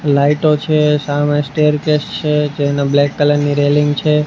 લાઈટો છે સામે સ્ટેરકેસ છે જેને બ્લેક કલર ની રેલિંગ છે.